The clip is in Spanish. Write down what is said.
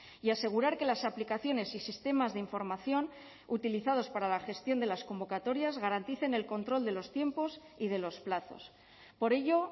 y asegurar que las aplicaciones y sistemas de información utilizados para la gestión de las convocatorias garanticen el control de los tiempos y de los plazos por ello